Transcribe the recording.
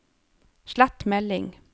slett melding